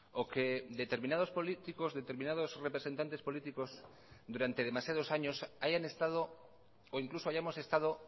o que determinados políticos determinados representantes políticos durante demasiados años hayan estado o incluso hayamos estado